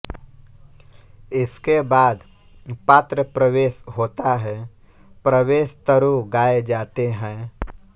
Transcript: इसके बाद पात्रप्रवेश होता है प्रवेश तरु गाए जाते हैं